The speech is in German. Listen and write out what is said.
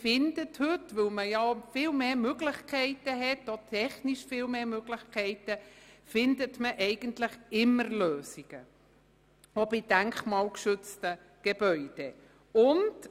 Da man heute technisch viel mehr Möglichkeiten hat, findet man eigentlich immer Lösungen, auch bei denkmalgeschützten Gebäuden.